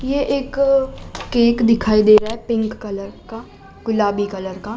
ये एक केक दिखाई दे रहा है पिंक कलर का गुलाबी कलर का।